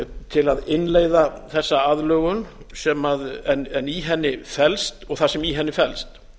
til að innleiða þessa aðlögun og það sem í henni felst